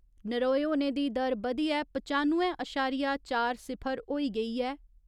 नरोए होने दी दर बधियै पचानुए अशारिया चार सिफर होई गेई ऐ।